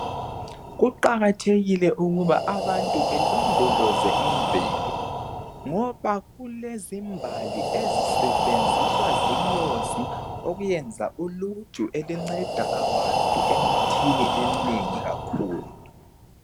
Kuqakathekile ukuba abantu belondoloze imvelo ngoba kulezimbali ezisebenziswa zinyosi ukuyenza uluju olunceda abantu emithini eminengi kakhulu